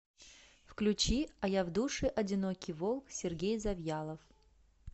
включи а я в душе одинокий волк сергей завьялов